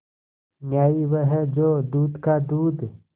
न्याय वह है जो दूध का दूध